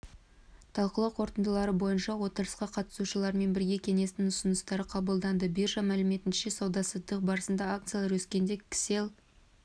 талқылау қорытындылары бойынша отырысқа қатысушыларымен бірге кеңестің ұсыныстары қабылданды биржа мәліметінше сауда-саттық барысында акциялары өскендер кселл